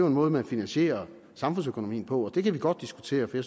en måde man finansierer samfundsøkonomien på og det kan vi godt diskutere for